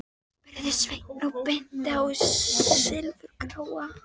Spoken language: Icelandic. spurði Sveinn og benti á þann silfurgráa.